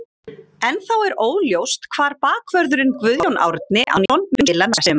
Ennþá er óljóst hvar bakvörðurinn Guðjón Árni Antoníusson mun spila næsta sumar.